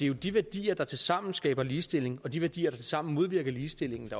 jo de værdier der tilsammen skaber ligestilling og de værdier der tilsammen modvirker ligestilling